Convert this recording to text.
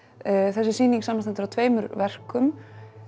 þessi sýning samanstendur af tveimur verkum